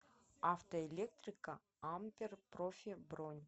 автоэлектрика ампер профи бронь